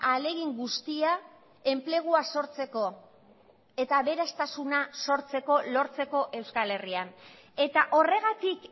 ahalegin guztia enplegua sortzeko eta aberastasuna sortzeko lortzeko euskal herrian eta horregatik